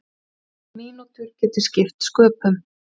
Mínútur geti skipt sköpum.